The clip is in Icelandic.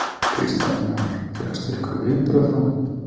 Kristján Már: Fékkstu einhver viðbrögð frá þeim?